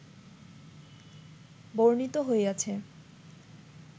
বর্ণিত হইয়াছে